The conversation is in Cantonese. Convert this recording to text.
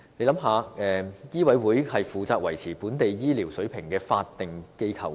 醫委會是負責維持本地醫療水平的法定機構。